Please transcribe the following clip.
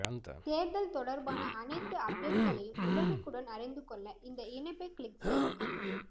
தேர்தல் தொடர்பான அனைத்து அப்டேட்களையும் உடனுக்குடன் அறிந்து கொள்ள இந்த இணைப்பை க்ளிக் செய்யுங்கள்